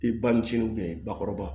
I ba ni cini bakɔrɔba